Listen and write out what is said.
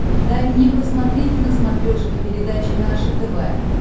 дай мне посмотреть на смотрешке передачу наше тв